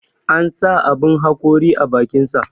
An sa aɓun haƙori a bakinsa.